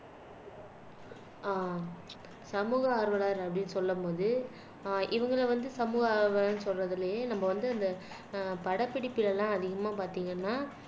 அஹ் சமூக ஆர்வலர் அப்படின்னு சொல்லும் போது ஆஹ் இவங்கள வந்து சமூக ஆர்வலர்ன்னு சொல்றதிலேயே நம்ம வந்து அந்த ஆஹ் படப்பிடிப்புல எல்லாம் அதிகமா பார்த்தீங்கன்னா